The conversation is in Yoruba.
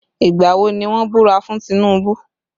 Ìgbà wo ni wọ́n búra fún Tinubu?